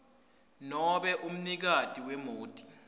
nobe umnikati wemoti